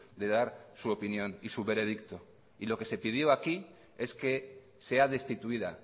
de dar su opinión y su veredicto y lo que se pidió aquí es que sea destituida